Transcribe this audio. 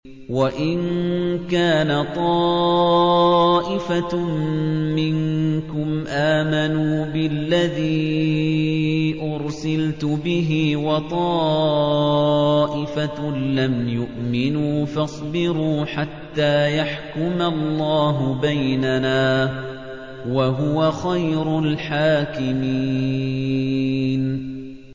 وَإِن كَانَ طَائِفَةٌ مِّنكُمْ آمَنُوا بِالَّذِي أُرْسِلْتُ بِهِ وَطَائِفَةٌ لَّمْ يُؤْمِنُوا فَاصْبِرُوا حَتَّىٰ يَحْكُمَ اللَّهُ بَيْنَنَا ۚ وَهُوَ خَيْرُ الْحَاكِمِينَ